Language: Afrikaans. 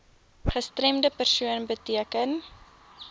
gestremde persoon beteken